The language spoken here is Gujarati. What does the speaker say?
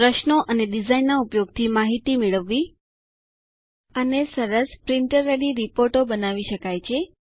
પ્રશ્નો અને ડિઝાઇન ના ઉપયોગ થી માહિતી મેળવવી અને સરસ પ્રિન્ટર રેડી રિપોર્ટો બનાવી શકાય છે